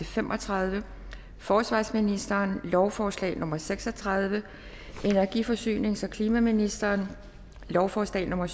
fem og tredive forsvarsministeren lovforslag nummer l seks og tredive energi forsynings og klimaministeren lovforslag nummer